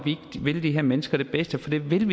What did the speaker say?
vil de her mennesker det bedste for det vil vi